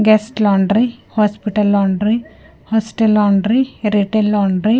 Guest laundry hospital laundry hostel laundry retail laundry .